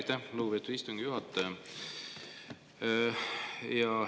Aitäh, lugupeetud istungi juhataja!